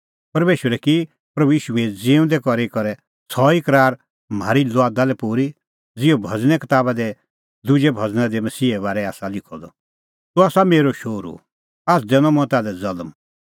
परमेशरै की प्रभू ईशू ज़िऊंदै करी करै सह ई करार म्हारी लुआदा लै पूरी ज़िहअ भज़ने कताबा दी दुजै भज़ना दी मसीहे बारै आसा लिखअ द तूह आसा मेरअ शोहरू आझ़ दैनअ मंऐं ताल्है ज़ल्म